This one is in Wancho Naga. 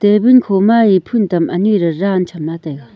tabul khoma eya phun tam anyi re ran cham taiga.